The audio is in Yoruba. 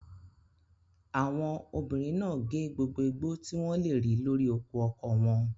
Àwọn obìnrin náà gé gbogbo igbó tí wọ́n lè rí lórí oko ọkọ wọn.